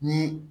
Ni